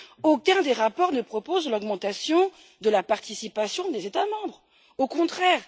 Aucun des rapports ne propose l'augmentation de la participation des États membres, au contraire!